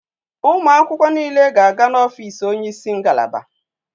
Ụmụ akwụkwọ niile ga-aga n'ọfiisi onye isi ngalaba.